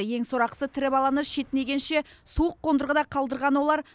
ең сорақысы тірі баланы шетінегенше суық қондырғыда қалдырған олар